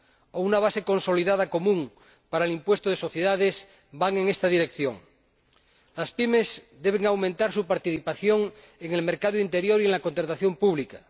o una base consolidada común para el impuesto de sociedades. Las PYME deben aumentar su participación en el mercado interior y en la contratación pública.